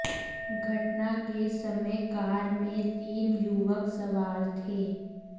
घटना के समय कार में तीन युवक सवार थे